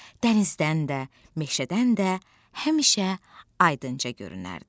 dənizdən də, meşədən də həmişə aydınca görünərdi.